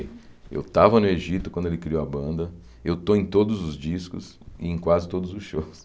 Eu tava no Egito quando ele criou a banda, eu estou em todos os discos e em quase todos os shows.